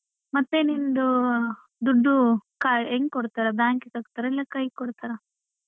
ಮತ್ತೆ ನಿಂದೂ ದುಡ್ಡು ಕಾ~ ಹೆಂಗ್ ಕೊಡ್ತಾರೆ bank ಗ್ ಹಾಕ್ತಾರಾ ಇಲ್ಲ ಕೈಗ್ ಕೊಡ್ತಾರ.